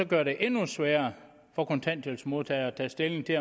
gøre det endnu sværere for kontanthjælpsmodtagere at tage stilling til